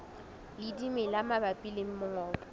le dimela mabapi le mongobo